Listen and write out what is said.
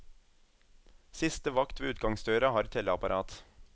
Siste vakt ved utgangsdøra har telleapparat.